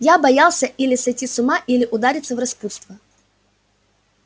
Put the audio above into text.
я боялся или сойти с ума или удариться в распутство